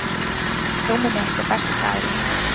rúmið mitt er besti staður í heiminum